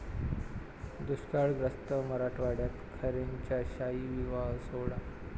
दुष्काळग्रस्त मराठवाड्यात खैरेंचा शाही विवाह सोहळा